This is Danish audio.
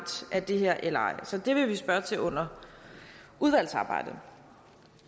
af det her eller ej så det vil vi spørge til under udvalgsarbejdet